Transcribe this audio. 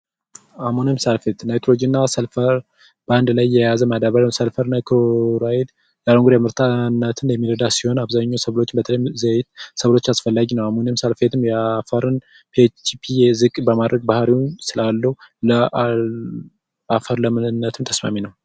የአልሙኒየም ሳልፌት እና የሳልፌት አንድ ላይ የያዘ የሰልፈርና የክሎራይድ ምርታማነትን የሚረዳ ሲሆን አብዛኛውን ሰብሎች ለምሳሌ ዘይት አስፈላጊ ነው አሁን ለምሳሌ የአፈርን ፒኤችፒ ዝቅ በማድረግ ባህሪውን ስላለው በአፈር ለምነት ተስማሚ ነው።